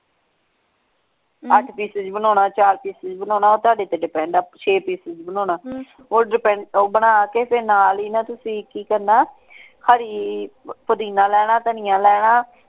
ਅੱਠ pieces ਤੁਸੀਂ ਬਣਾਉਣਾ ਚਾਰ pieces ਤੁਸੀਂ ਬਣਾਉਣਾ ਉਹ ਤੁਹਾਡੇ ਤੇ depend ਹੈ ਛੇ pieces ਬਣਾਉਣਾ ਉਹ depend ਉਹ ਬਣਾ ਕੇ ਤੇ ਨਾਲ ਹੀ ਨਾ ਤੁਸੀਂ ਕੀ ਕਰਨਾ ਹਰੀ ਪੁਦੀਨਾ ਲੈਣਾ ਧਨੀਆ ਲੈਣਾ।